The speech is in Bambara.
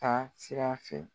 Taa sira fɛ.